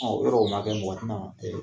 Ɔ yɔrɔ o ma kɛ, mɔgɔ tɛna